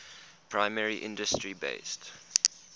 primary industry based